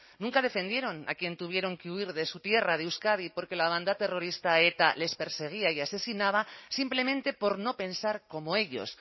nunca defendieron a quienes tuvieron que huir de su tierra de euskadi porque la banda terrorista eta les perseguía y asesinaba simplemente por no pensar como ellos